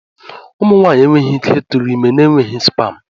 Ụmụ nwaanyị enweghị ike ịtụrụ ime n'enweghị spam.